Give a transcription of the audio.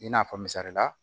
I n'a fɔ misalila